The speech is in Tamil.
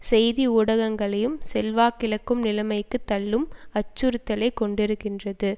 செய்தி ஊடகங்களையும் செல்வாக்கிழக்கும் நிலைமைக்கு தள்ளும் அச்சுறுத்தலை கொண்டிருக்கிறது